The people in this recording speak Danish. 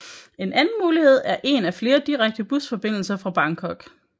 En anden mulighed er en af flere direkte busfordindelser fra Bangkok